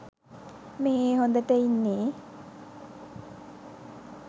මෙහේ හොඳට ඉන්නෙ